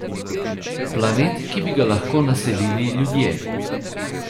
Planet, ki bi ga lahko naselili ljudje.